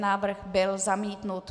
Návrh byl zamítnut.